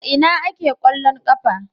A ina ake kwallon kafa?